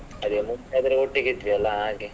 ಅದೇ ಮುಂಚೆ ಆದ್ರೆ ಒಟ್ಟಿಗೆ ಇದ್ವಿ ಅಲ್ವ ಹಾಗೆ.